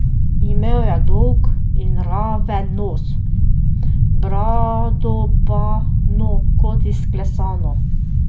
Imel je dolg in raven nos, brado pa, no, kot izklesano.